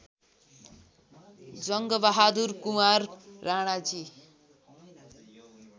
Jangbahadur Kunwar Ranaji